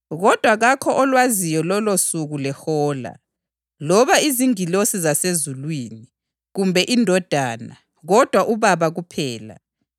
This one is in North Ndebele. “Kodwa kakho olwaziyo lolosuku lehola, loba izingilosi zasezulwini, kumbe iNdodana, kodwa uBaba kuphela.